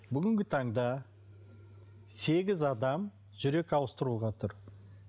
бүгінгі таңда сегіз адам жүрек ауыстыруға тұр